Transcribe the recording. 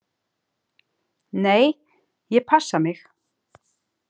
Nei, ég passa mig.